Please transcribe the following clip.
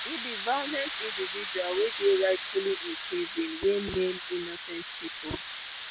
e be violent individual wey dey rightfully imprisoned wey main innocent people